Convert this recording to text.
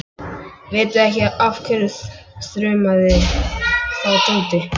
Vitiði ekki af hverju? þrumaði þá Tóti.